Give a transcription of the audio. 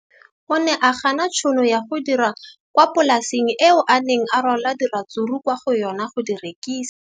O ne a gana tšhono ya go dira kwa polaseng eo a neng rwala diratsuru kwa go yona go di rekisa.